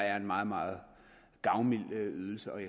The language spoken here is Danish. er en meget meget gavmild ydelse ud